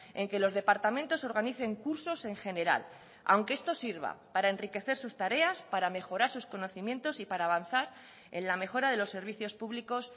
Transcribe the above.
en que los departamentos organicen cursos en general aunque estos sirva para enriquecer sus tareas para mejorar sus conocimientos y para avanzar en la mejora de los servicios públicos